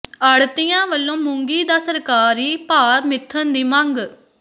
ਆੜ੍ਹਤੀਆਂ ਵੱਲੋਂ ਮੂੰਗੀ ਦਾ ਸਰਕਾਰੀ ਭਾਅ ਮਿੱਥਣ ਦੀ ਮੰਗ